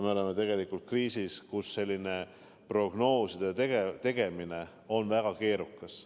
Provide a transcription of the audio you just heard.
Me oleme tegelikult kriisis, kus prognooside tegemine on väga keerukas.